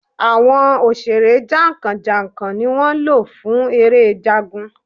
Àwọn òṣèré jàǹkàn jàǹkàn ni wọ́n lò fún eré Jagun.